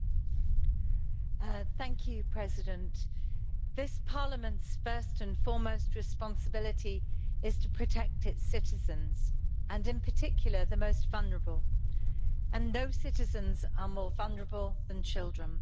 Mr President, this Parliament's first and foremost responsibility is to protect its citizens and, in particular, the most vulnerable, and no citizens are more vulnerable than children.